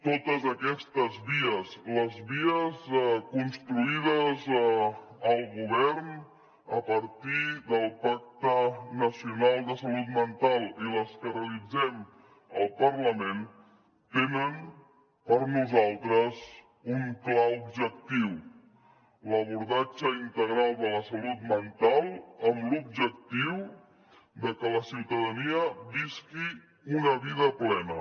totes aquestes vies les vies construïdes al govern a partir del pacte nacional de salut mental i les que realitzem al parlament tenen per nosaltres un clar objectiu l’abordatge integral de la salut mental amb l’objectiu de que la ciutadania visqui una vida plena